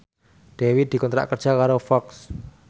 Dewi dikontrak kerja karo Fox